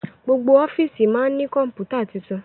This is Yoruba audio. gbogbo ọfiisi ma ní Kọ̀ǹpútà títún.